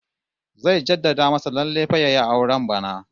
Zai jadda masa lallai fa yayi auren bana